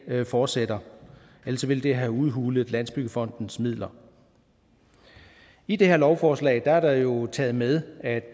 fortsætter ellers ville det have udhulet landsbyggefondens midler i det her lovforslag er der jo taget med at